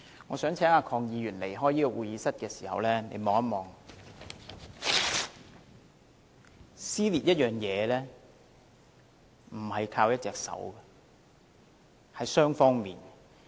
我想請鄺議員在離開會議廳時看看，撕裂一件東西，不是靠一隻手，而是要雙方的。